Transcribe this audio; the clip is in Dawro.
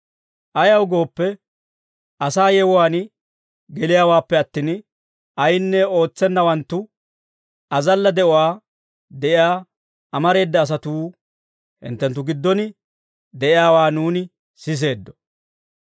Ayaw gooppe, asaa yewuwaan geliyaawaappe attin, ayinne ootsenawanttu, azalla de'uwaa de'iyaa amareeda asatuu hinttenttu giddon de'iyaawaa nuuni siseeddo.